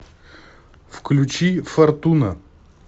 включи фортуна